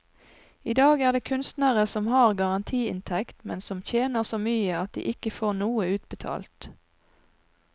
I dag er det kunstnere som har garantiinntekt, men som tjener så mye at de ikke får noe utbetalt.